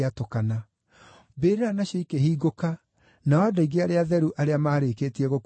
Mbĩrĩra nacio ikĩhingũka, nao andũ aingĩ arĩa atheru arĩa maarĩkĩtie gũkua makĩriũka,